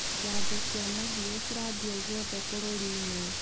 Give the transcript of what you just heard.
Janjo cia mahiũ ciratambio guothe bũrũrinĩ.